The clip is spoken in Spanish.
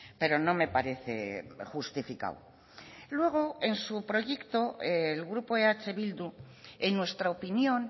pero no me parece justificado luego en su proyecto el grupo eh bildu en nuestra opinión